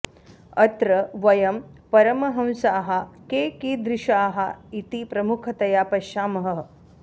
अत्र वयं परमहंसाः के कीदृशाः इति प्रमुखतया पश्यामः